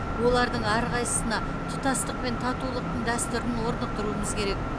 олардың әрқайсысына тұтастық пен татулықтың дәстүрін орнықтыруымыз керек